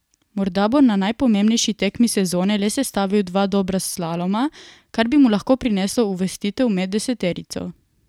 Morda bo na najpomembnejši tekmi sezone le sestavil dva dobra slaloma, kar bi mu lahko prineslo uvrstitev med deseterico.